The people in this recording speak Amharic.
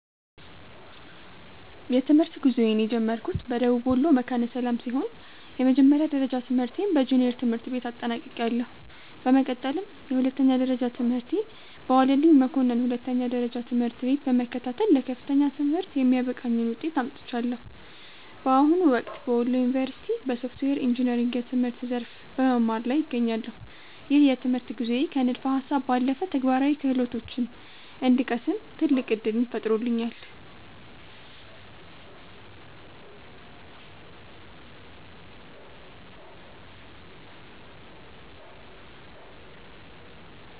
የትምህርት ጉዞዬን የጀመርኩት በደቡብ ወሎ መካነ ሰላም ሲሆን፣ የመጀመሪያ ደረጃ ትምህርቴን በጁኒየር ትምህርት ቤት አጠናቅቄያለሁ። በመቀጠልም የሁለተኛ ደረጃ ትምህርቴን በዋለልኝ መኮንን ሁለተኛ ደረጃ ትምህርት ቤት በመከታተል ለከፍተኛ ትምህርት የሚያበቃኝን ውጤት አምጥቻለሁ። በአሁኑ ወቅት በወሎ ዩኒቨርሲቲ (Wollo University) በሶፍትዌር ኢንጂነሪንግ የትምህርት ዘርፍ በመማር ላይ እገኛለሁ። ይህ የትምህርት ጉዞዬ ከንድፈ ሃሳብ ባለፈ ተግባራዊ ክህሎቶችን እንድቀስም ትልቅ ዕድል ፈጥሮልኛል።